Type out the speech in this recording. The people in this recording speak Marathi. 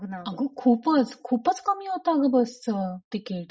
अग खूपच. खूपच कमी होत बसचं तिकीट.